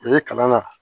Ee kalan na